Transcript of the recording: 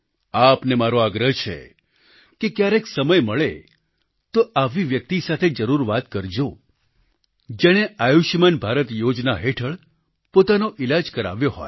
આપને મારો આગ્રહ છે કે ક્યારેક સમય મળે તો આવી વ્યક્તિ સાથે જરૂર વાત કરજો જેણે આયુષ્યમાન ભારત યોજના હેઠળ પોતાનો ઈલાજ કરાવ્યો હોય